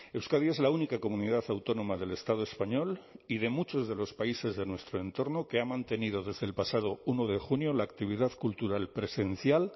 euskadi es la única comunidad autónoma del estado español y de muchos de los países de nuestro entorno que ha mantenido desde el pasado uno de junio la actividad cultural presencial